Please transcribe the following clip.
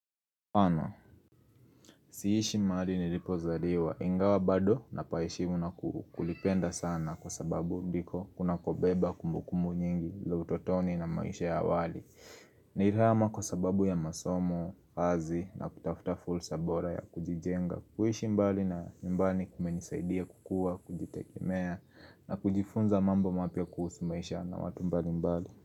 Ama, siishi mahali nilipozaliwa, ingawa bado napa heshimu na kulipenda sana kwa sababu ndiko kunakobeba kumbukumbu nyingi, za utotoni na maisha ya awali Nilihama kwa sababu ya masomo, kazi na kutafuta fursa bora ya kujijenga, kuishi mbali na nyumbani kumenisaidia kukua, kujitegemea na kujifunza mambo mapya kuhusu maisha na watu mbali mbali.